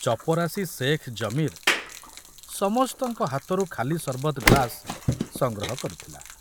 ଚପରାସୀ ସେଖ୍ ଜମୀର ସମସ୍ତଙ୍କ ହାତରୁ ଖାଲି ସର୍ବତ ଗ୍ଲାସ ସଂଗ୍ରହ କରୁଥିଲା।